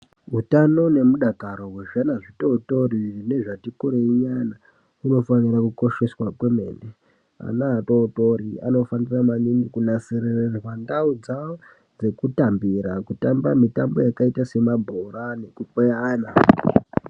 Hutano nemudakaro hwezvana zvidodori nezvati kurei nyana zvinofanira kukosheswa kwemene. Ana atotori anofanira maningi kunasirirwa ndau dzavo dzekutambira kutambira kutamba mitambo yakaita semabhora nekukweyana.